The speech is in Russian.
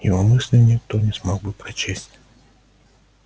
его мысли никто не смог бы прочесть